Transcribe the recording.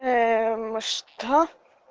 ээ мм что